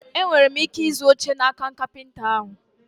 E nwere m ike ịzụ oche n'aka kapịnta ahụ?